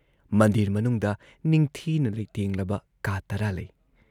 ꯃꯟꯗꯤꯔ ꯃꯅꯨꯨꯡꯗ ꯅꯤꯡꯊꯤꯅ ꯂꯩꯇꯦꯡꯂꯕ ꯀꯥ ꯇꯔꯥ ꯂꯩ ꯫